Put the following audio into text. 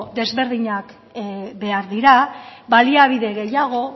desberdinak behar dira baliabide gehiago